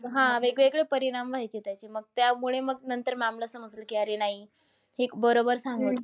हा, वेगवेगळे परिणाम व्हायचे त्याचे. मग त्यामुळे मग नंतर ma'am ला समजलं की अरे नाही. हे बरोबर सांगत होते.